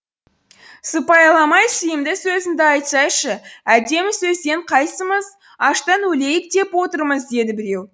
сыпайыламай сыйымды сөзіңді айтсайшы әдемі сөзден қайсымыз аштан өлейік деп отырмыз деді біреу